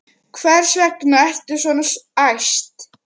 Hvers vegna ertu svona æst?